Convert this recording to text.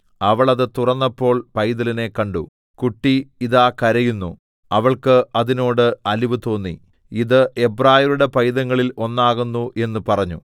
അവൾ അത് തുറന്നപ്പോൾ പൈതലിനെ കണ്ടു കുട്ടി ഇതാ കരയുന്നു അവൾക്ക് അതിനോട് അലിവുതോന്നി ഇത് എബ്രായരുടെ പൈതങ്ങളിൽ ഒന്നാകുന്നു എന്ന് പറഞ്ഞു